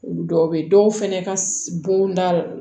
Olu dɔw bɛ dɔw fɛnɛ ka bonda